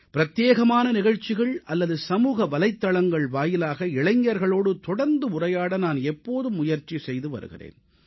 பிரத்யேகமான நிகழ்ச்சிகள் அல்லது சமூக வலைத்தளங்கள் வாயிலாக இளைஞர்களோடு தொடர்ந்து உரையாட நான் எப்போதும் முயற்சி செய்து வருகிறேன்